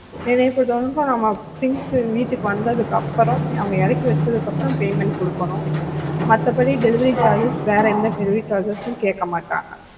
எனக்கு தெரிஞ்சு things நம்ம வீட்டுக்கு வந்ததுக்கு அப்புறம் அவங்க இறக்கி வச்சதுக்கு அப்புறம் payment கொடுக்கணும் மத்தபடி delivery charges வேற எந்த delivery charges உம் கேட்க மாட்டாங்க